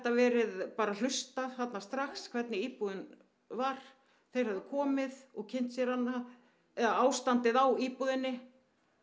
verið hlustað þarna strax hvernig íbúðin var þeir hefðu komið og kynnt sér hana eða ástandið á íbúðinni